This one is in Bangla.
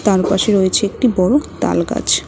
আর ওপাশে রয়েছে একটি বড় তালগাছ।